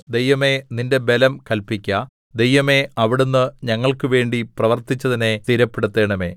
ദൈവമേ നിന്റെ ബലം കല്പിക്ക ദൈവമേ അവിടുന്ന് ഞങ്ങൾക്കുവേണ്ടി പ്രവർത്തിച്ചതിനെ സ്ഥിരപ്പെടുത്തണമേ